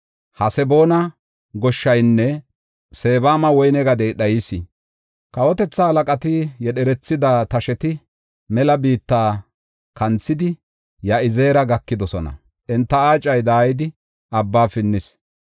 Haseboona goshshaynne Sebama woyne gadey dhayis. Kawotethata halaqati yedherethida tasheti mela biitta kanthidi Ya7izeera gakidosona; enta aacay daayidi, abba pinnis.